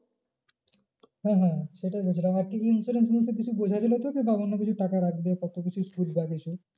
হ্যাঁ হ্যাঁ সেটাই বলছি আর insurance কিছু বোঝা গেলো তোকে না অন্য কিছু টাকা রাখবে কত কিছু সুধ বাড়িয়েছে।